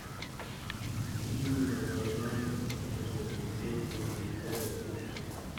Imuch konyor kaimutik ap sigisyet tipiik che mengech